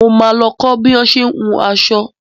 Mo ma lọ kọ́ bo ṣé ń hun aṣọ